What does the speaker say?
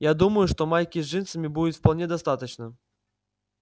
я думаю что майки с джинсами будет вполне достаточно